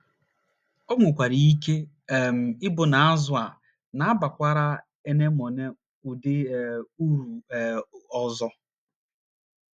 O nwekwara ike um ịbụ na azụ̀ a na - abakwara anemone ụdị um uru um ọzọ.